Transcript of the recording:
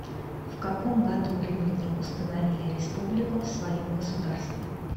в каком году римляне установили республику в своем государстве